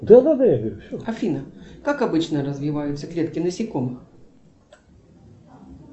афина как обычно развиваются клетки насекомых